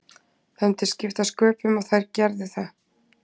Það myndi skipta sköpum og þær gerðu það.